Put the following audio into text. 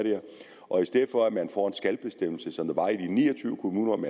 og i stedet for at man får en skal bestemmelse som der var i ni og tyve kommuner om